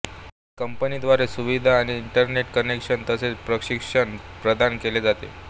कंपनीद्वारे सुविधा आणि इंटरनेट कनेक्शन तसेच प्रशिक्षण प्रदान केले जाते